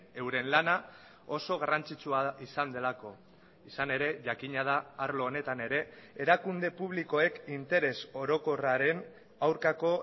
euren lana oso garrantzitsua izan delako izan ere jakina da arlo honetan ere erakunde publikoek interes orokorraren aurkako